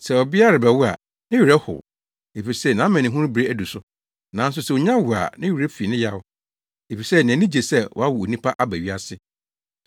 Sɛ ɔbea rebɛwo a, ne werɛ how, efisɛ nʼamanehunu bere adu so, nanso sɛ onya wo a ne werɛ fi ne yaw, efisɛ nʼani gye sɛ wawo onipa aba wiase.